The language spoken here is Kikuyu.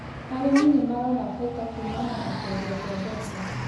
Arĩmi nĩ marona baita kuumana na kwendia kwa mboco.